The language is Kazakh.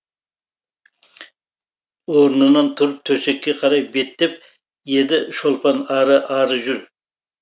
орнынан тұрып төсекке қарай беттеп еді шолпан ары ары жүр